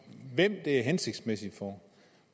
hvem det er hensigtsmæssigt for